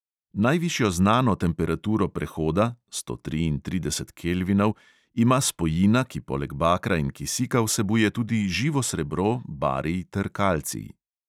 Najvišjo znano temperaturo prehoda (sto triintrideset kelvinov) ima spojina, ki poleg bakra in kisika vsebuje tudi živo srebro, barij ter kalcij.